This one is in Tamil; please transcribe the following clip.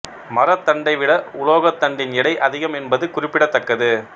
மரத் தண்டைவிட உலோகத் தண்டின் எடை அதிகம் என்பது குறிப்பிடத்தக்கது